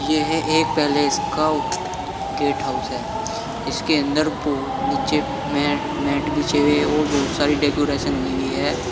यह एक पैलेस का गेट हाउस है इसके बो अंदर नीचे मै मैट बिछे हुए है और बहोत सारी डेकोरेशन हुई हुई है।